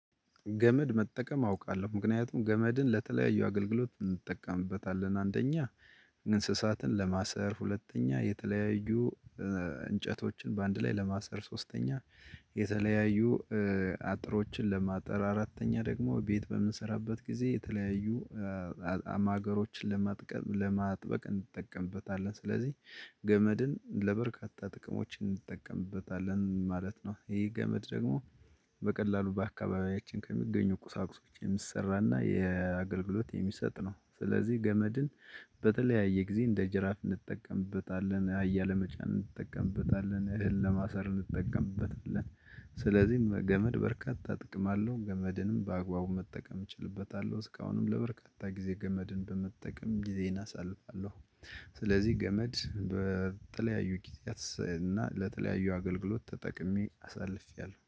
ገመድ መጠቀም አውቃለሁ ምክንያቱም ገመድን ለተለያዩ አገልግሎት እንጠቀምበታለን አንደኛ ንስሳትን ለማሰር ሁለተኛ የተለያዩ እንጨቶችን በአንድ ላይ ለማሰር ሶስተኛ የተለያዩ አጥሮችን ለማጠር አራተኛ ደግሞ ቤት በምንሰራበት ጊዜ የተለያዩ አማገሮችን ለማጥበቅ እንጠቀምበታለን ስለዚህ ገመድን ለበርካታ ጥቅሞች እንጠቀምበታለን ማለት ነው። ይሄ ገመድ ደግሞ በቀላሉ በአካባቢያችን ከሚገኙ ቁሳቁሶች የሚሰራና የአገልግሎት የሚሰጥ ነው። ስለዚህ ገመድን በተለያየ ጊዜ እንደ ጅራፍ እንጠቀምበታለን አህያ ለመጫን እንጠቀምበታለን እህል ለማሰር እንጠቀምበታለን። ስለዚህ ገመድ በርካታ ጥቅም አለው ገመድንም በአግባቡ መጠቀም እችልበታለሁ። እስካሁንም ለበርካታ ጊዜ ገመድን በመጠቀም ጊዜየን አሳልፋለሁ። ስለዚህ ገመድ በተለያዩ ጊዜያት እና ለተለያዩ አገልግሎት ተጠቅሜ አሳልፌያለሁ